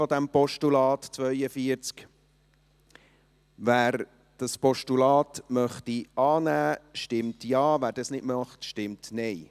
Wer das Postulat annehmen möchte, stimmt Ja, wer dies nicht möchte, stimmt Nein.